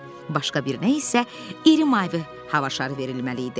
Başqa birinə isə iri mavi hava şarı verilməli idi.